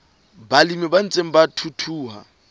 balemi ba ntseng ba thuthuha